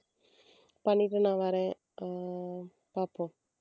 பண்ணிட்டு நான் வரேன் அஹ் பாப்போம்